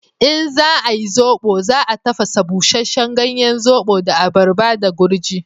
In za ayi zobo, za a tafasa busheshen ganyen zobo da abaraba da gurji.